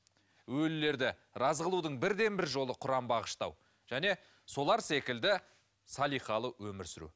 өлілерді разы қылудың бірден бір жолы құран бағыштау және солар секілді салиқалы өмір сүру